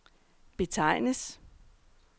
betegnes